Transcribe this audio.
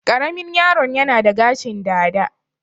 Ƙaramin yaro'n yana da gashin dada.